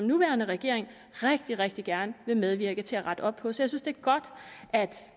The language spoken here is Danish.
nuværende regering rigtig rigtig gerne vil medvirke til at rette op på jeg synes det er godt at